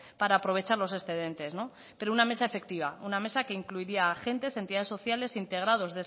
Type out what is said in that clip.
para aprovechar los excedentes pero una mesa efectiva una mesa que incluiría agentes entidades sociales integrados